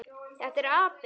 Þetta er api.